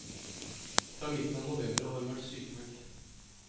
Fra midten av november har hun vært sykmeldt.